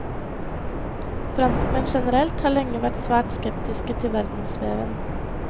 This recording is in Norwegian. Franskmenn generelt har lenge vært svært skeptiske til verdensveven.